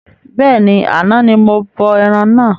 Bẹ́ẹ̀ni, àna ní mo bọ ẹran náà